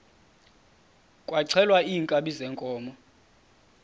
kwaxhelwa iinkabi zeenkomo